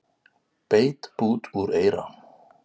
Beit bút úr eyra